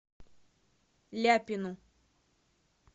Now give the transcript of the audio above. ляпину